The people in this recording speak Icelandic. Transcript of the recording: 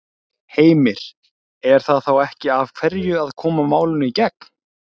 Heimir: Er það þá ekki af hverju að koma málinu í gegn?